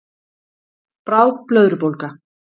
Bráð blöðrubólga